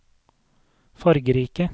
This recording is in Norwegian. fargerike